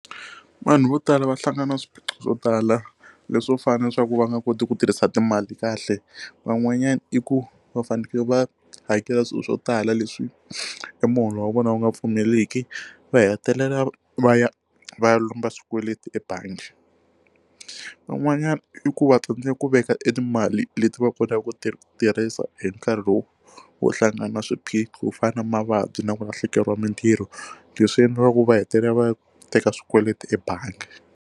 Vanhu vo tala va hlangana na swiphiqo swo tala leswo fanele leswaku va nga koti ku tirhisa timali kahle van'wanyana i ku va fanekele va hakela swilo swo tala leswi hi muholo wa vona wu nga pfumeliki va hetelela va ya va ya lomba swikweleti ebangi van'wanyana i ku va tsandzeka ku veka e timali leti va kotaka ku ti tirhisa hi nkarhi lowu wo hlangana swiphiqo ku fana na mavabyi na ku lahlekeriwa mitirho leswi endlaku va hetelela va teka swikweleti ebangi.